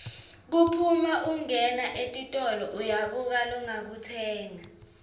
kuphuma ungena etitolo uyabuka longakutsenga